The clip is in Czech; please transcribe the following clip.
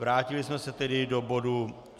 Vrátili jsme se tedy do bodu